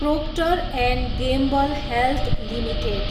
proctor and Gamble Health limited